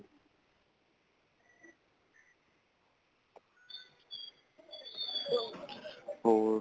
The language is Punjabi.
ਹੋਰ